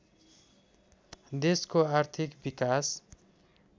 देशको आर्थिक विकास